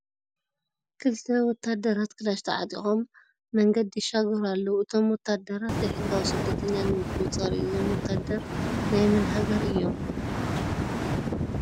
ክልተ ውታደራት ክላሽ ተዓጢቆም መንገዲ ይሻገሩ ኣለዉ ። እቶም ወታደራት ዘይሕጋዊ ስደተኛ ንምቁፅፃር እዪ ። እዞም ወታደር ናይ ምን ሃገር እዮም ?